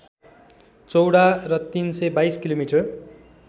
चौडा र ३२२ किमि